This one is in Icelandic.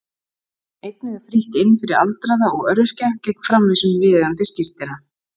Einnig er frítt inn fyrir aldraða og öryrkja gegn framvísun viðeigandi skírteina.